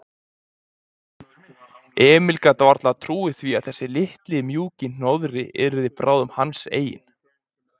Emil gat varla trúað því að þessi litli, mjúki hnoðri yrði bráðum hans eigin.